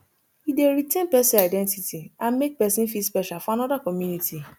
e dey retain pesin identity and make pesin feel special for anoda community